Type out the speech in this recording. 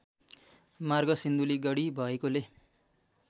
मार्ग सिन्धुलीगढी भएकोले